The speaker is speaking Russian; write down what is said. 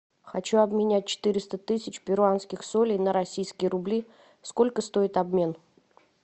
хочу обменять четыреста тысяч перуанских солей на российские рубли сколько стоит обмен